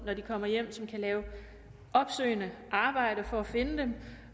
når de kommer hjem kan lave opsøgende arbejde for at finde dem